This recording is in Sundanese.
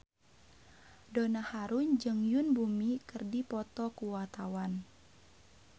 Donna Harun jeung Yoon Bomi keur dipoto ku wartawan